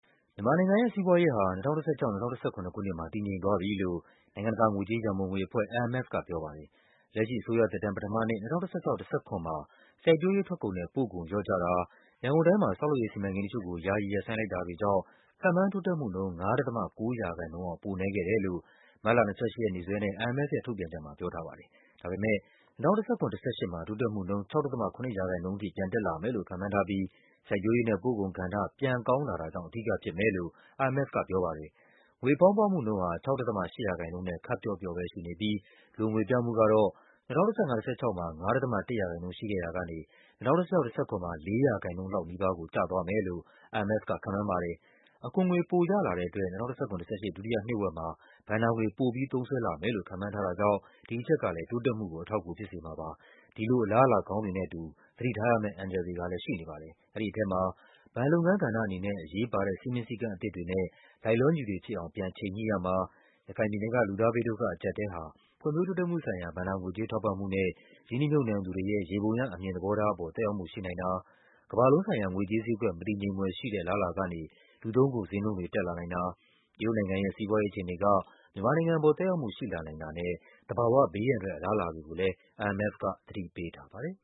မြန်မာနိုင်ငံရဲ့စီးပွားရေးဟာ ၂၀၁၆-၂၀၁၇ ခုနှစ်မှာ တည်ငြိမ်လာပြီလို့ နိုင်ငံတကာငွေကြေးရန်ပုံငွေအဖွဲ့ IMF က ပြောလိုက်ပါ တယ်။ လက်ရှိအစိုးရသက်တမ်းပထမနှစ် ၂၀၁၆-၁၇ မှာ စိုက်ပျိုးရေးထွက်ကုန်နဲ့ပို့ကုန် လျော့ကျတာ၊ ရန်ကုန်တိုင်းမှာ ဆောက်လုပ်ရေးစီမံကိန်းတချို့ကို ယာယီ ရပ်ဆိုင်းလိုက်တာတွေကြောင့် ခန့်မှန်းတိုးတက်မှုနှုန်း ၅.၉% အောက် ပိုနည်းခဲ့တယ် လို့ မတ်လ ၂၈ ရက်နေ့စွဲနဲ့ IMF ရဲ့ထုတ်ပြန်ချက်မှာ ပြောထားပါတယ်။ ဒါပေမဲ့ ၂၀၁၇-၁၈ မှာ တိုးတက်မှုနှုန်း ၆.၇% ထိပြန်တက်လာမယ်လို့ ခန့်မှန်းထားပြီး စိုက်ပျိုးရေးနဲ့ပို့ကုန်ကဏ္ဍ ပြန်ကောင်းလာ တာကြောင့် အဓိကဖြစ်မယ်လို့ IMF ကပြောပါတယ်။ ငွေဖောင်းပွမှုနှုန်းဟာ ၆.၈% နဲ့ ခပ်ပျော့ပျော့ပဲရှိနေပြီး လိုငွေပြမှုကတော့ ၂၀၁၅-၁၆ မှာ ၅.၁% ရှိခဲ့ရာကနေ ၂၀၁၆-၁၇ မှာ ၃.၉% လောက်ကို ကျသွားမယ်လို့ IMF က ခန့်မှန်းပါတယ်။ အခွန်ငွေ ပိုရလာ တဲ့အတွက် ၂၀၁၇-၁၈ ဒုတိယနှစ်ဝက်မှာ ဘဏ္ဍာငွေ ပိုပြီးသုံးစွဲလာမယ်လို့ ခန့်မှန်းထားတာကြောင့် ဒီအချက်ကလည်း တိုးတက်မှု ကို အထောက်အကူဖြစ်စေမှာပါ။ အဲဒီလိုအလားအလာကောင်းတွေနဲ့အတူ သတိထားရမယ့် အန္တရာယ်တွေကလည်း ရှိနေပါတယ်။ အဲဒီထဲမှာ ဘဏ်လုပ်ငန်းကဏ္ဍ အနေနဲ့ အရေးပါတဲ့ စည်းမျဉ်းစည်းကမ်းအသစ်တွေနဲ့ လိုက်လျောညီထွေဖြစ်အောင် ချိန်ညှိရမှာ၊ ရခိုင်ပြည်နယ်က လူသား ဘေး ဒုက္ခအကျပ်အတည်းဟာ ဖွံ့ဖြိုးတိုးတက်မှုဆိုင်ရာ ဘဏ္ဍာငွေကြေး ထောက်ပံ့မှုနဲ့ ရင်းနှီးမြှုပ်နှံသူတွေရဲ့ ယေဘုယျအမြင်သဘော ထားပေါ် သက်ရောက်မှုရှိနိုင်တာ၊ ကမ္ဘာလုံးဆိုင်ရာ ငွေကြေးဈေးကွက် မတည်ငြိမ်ဖွယ်ရှိတဲ့ အလားအလာကနေ လူသုံးကုန် ဈေးနှုန်းတွေ တက်လာနိုင်တာ၊ တရုတ်နိုင်ငံရဲ့ စီးပွားရေးအခြေအနေက မြန်မာနိုင်ငံပေါ် သက်ရောက်မှုရှိလာနိုင်တာနဲ့ သဘာဝ ဘေးအန္တရာယ် အလားအလာတွေကို IMF က သတိပေးထားပါတယ်